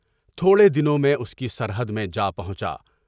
تھوڑے دنوں میں اس کی سرحد میں جا پہنچا۔